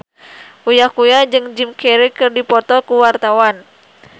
Uya Kuya jeung Jim Carey keur dipoto ku wartawan